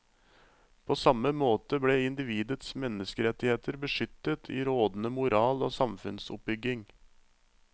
På samme måte ble individets menneskerettigheter beskyttet i rådende moral og samfunnsoppbygging.